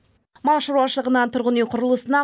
мал шаруашылығынан тұрғын үй құрылысына